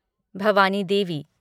Bhavani Devi